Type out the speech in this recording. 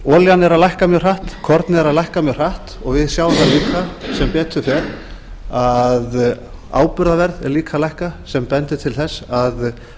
olían er að lækka mjög hratt kornið er að lækka mjög hratt og við sjáum það líka sem betur fer að áburðarverð er líka að lækka sem bendir til þess að